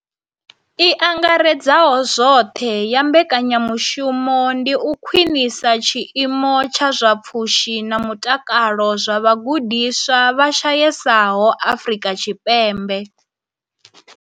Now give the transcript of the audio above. I angaredzaho zwoṱhe ya mbekanya mushumo ndi u khwinisa tshiimo tsha zwa pfushi na mutakalo zwa vhagudiswa vha shayesaho Afrika Tshipembe.